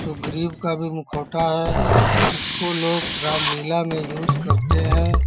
सुग्रीव का भी मुखौटा है| इसको लोग रामलीला में यूज करते हैं |